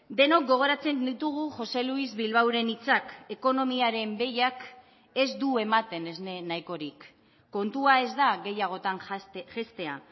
denok gogoratzen ditugu jose luis bilbaoren hitzak ekonomiaren behiak ez du ematen esne nahikorik kontua ez da gehiagotan jaistea